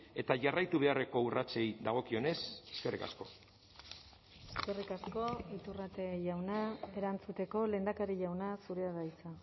eta jarraitu beharreko urratsei dagokionez eskerrik asko eskerrik asko iturrate jauna erantzuteko lehendakari jauna zurea da hitza